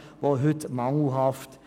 Diese ist heute mangelhaft.